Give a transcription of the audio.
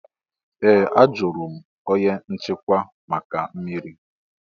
Ee! Ajụrụ m onye nchịkwa maka mmiri.